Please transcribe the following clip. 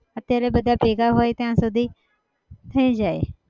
અત્યારે બધા ભેગા હોય ત્યાં સુધી થઇ જાય.